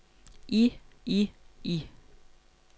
i i i